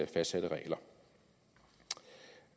fastsatte regler